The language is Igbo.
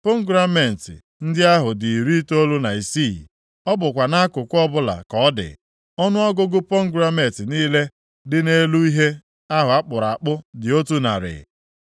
Pomegranet ndị ahụ dị iri itoolu na isii, ọ bụkwa nʼakụkụ ọbụla ka ọ dị. Ọnụọgụgụ pomegranet niile dị nʼelu ihe ahụ a kpụrụ akpụ dị otu narị.